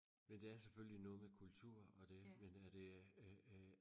men det er selvfølgelig noget med kultur og det men er det øh øh